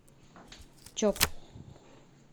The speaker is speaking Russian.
чоп